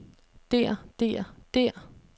der der der